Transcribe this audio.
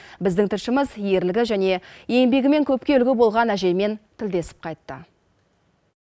біздің тілшіміз ерлігі және еңбегімен көпке үлгі болған әжеймен тілдесіп қайтты